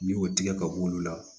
N'i y'o tigɛ ka b'olu la